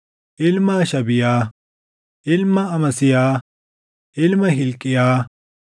ilma Hashabiyaa, ilma Amasiyaa, ilma Hilqiyaa,